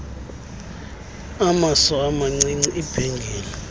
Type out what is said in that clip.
amaso amacici ibhengile